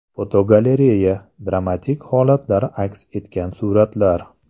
Fotogalereya: Dramatik holatlar aks etgan suratlar.